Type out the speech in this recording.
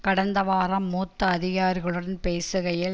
கடந்த வாரம் மூத்த அதிகாரிகளுடன் பேசுகையில்